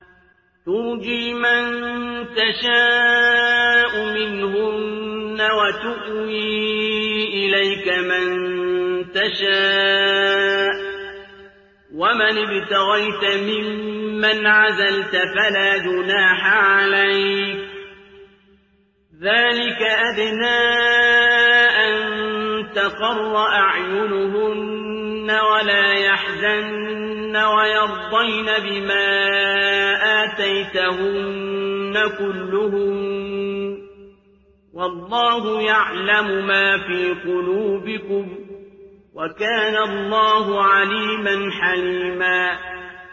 ۞ تُرْجِي مَن تَشَاءُ مِنْهُنَّ وَتُؤْوِي إِلَيْكَ مَن تَشَاءُ ۖ وَمَنِ ابْتَغَيْتَ مِمَّنْ عَزَلْتَ فَلَا جُنَاحَ عَلَيْكَ ۚ ذَٰلِكَ أَدْنَىٰ أَن تَقَرَّ أَعْيُنُهُنَّ وَلَا يَحْزَنَّ وَيَرْضَيْنَ بِمَا آتَيْتَهُنَّ كُلُّهُنَّ ۚ وَاللَّهُ يَعْلَمُ مَا فِي قُلُوبِكُمْ ۚ وَكَانَ اللَّهُ عَلِيمًا حَلِيمًا